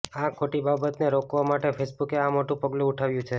આ ખોટી બાબતને રોકવા માટે ફેસબુકે આ મોટું પગલું ઉઠાવ્યું છે